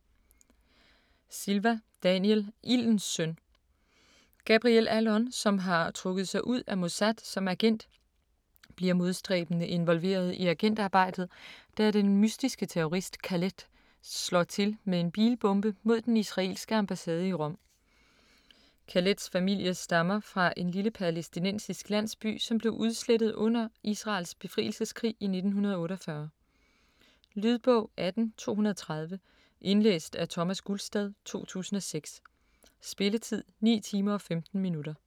Silva, Daniel: Ildens søn Gabriel Allon, som har trukket sig ud af Mossad som agent, bliver modstræbende involveret i agentarbejdet, da den mystiske terrorist Khaled slår til med en bilbombe mod den Israelske ambassade i Rom. Khaleds familie stammer fra en lille palæstinensisk landsby som blev udslettet under Israels befrielseskrig i 1948. Lydbog 18230 Indlæst af Thomas Gulstad, 2006. Spilletid: 9 timer, 15 minutter.